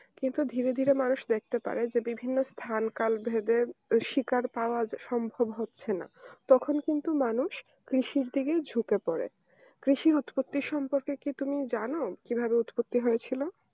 কিন্তু ধীরে ধীরে মানুষ দেখতে পারে যে বিভিন্ন স্থান কাল ভেবে শিকার পাওয়া সম্ভব হচ্ছে না তখন কিন্তু মানুষ কৃষির দিকে ঝুঁকে পড়ে, কৃষির উৎপত্তির সম্পর্কে কি তুমি জানো কিভাবে উৎপত্তি হয়েছিল